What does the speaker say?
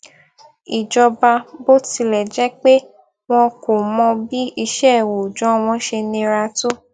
ìjọba bó tilè jé pé wọn kò mọ bí iṣẹ òòjọ wọn ṣe nira tó